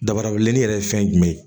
Dabara wililen yɛrɛ ye fɛn jumɛn ye